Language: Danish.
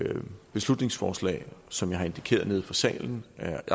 beslutningsforslag agter som jeg har indikeret nede fra salen at